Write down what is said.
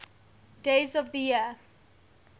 days of the year